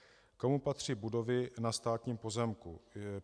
Komu patří budovy na státním pozemku?